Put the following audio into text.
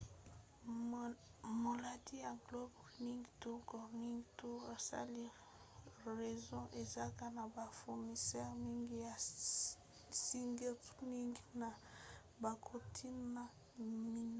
molandi ya global running tours go running tours asali réseau eza na bafournisseur mingi ya sightrunning na bakontina minei